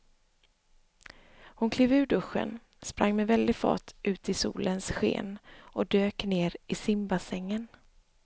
Hon klev ur duschen, sprang med väldig fart ut i solens sken och dök ner i simbassängen.